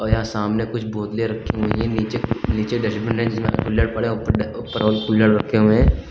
यहां सामने कुछ बोतले रखी हुई हैं नीचे कुछ निचे डस्टबिन है जिसमें कुल्हड़ पड़े हैं ऊपर और कुल्हड़ रखे हुए हैं।